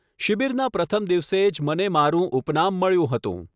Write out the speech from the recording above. શિબિરના પ્રથમ દિવસે જ મને મારું ઉપનામ મળ્યું હતું.